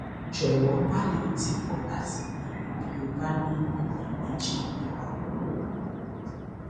jọwọ má lọ tìkọ láti béèrè bí o bá ní iyèméjì mìíràn